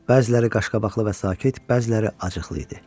Bəziləri qaşqabaqlı və sakit, bəziləri acıqlı idi.